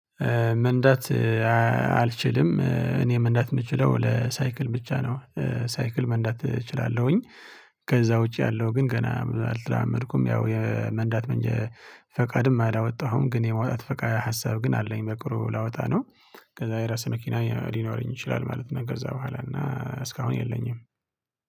መንዳት አልችልም እኔ መንዳት የምችለው ለሳይክል ብቻ ነው ሳይክል መንዳት እችላለሁኝ። ከዛ ውጪ ያለው ግን ገና አልተዳመድኩም ያው የመንዳት መንጀ ፈቃድም አላወጣሁም ግን የማውጣት ፈቃድ ሀሳብ ግን አለኝ በቅርቡ ላወጣ ነው። ከዛ የራሴ መኪና ሊኖረኝ ይችላል ማለት ነው ከዛ በኋላ እና እስካሁን የለኝም